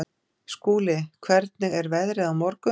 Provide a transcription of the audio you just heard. Skúli, hvernig er veðrið á morgun?